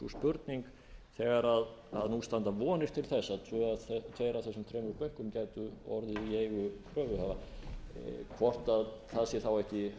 spurning þegar nú standa vonir til þess að tveir af þessum þremur bönkum gætu orðið í eigu kröfuhafa hvort það sé þá ekki